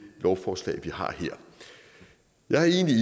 lovforslag vi har her jeg er egentlig